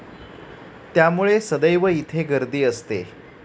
त्यामुळे सदैव इथे गर्दी असते